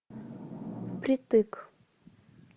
впритык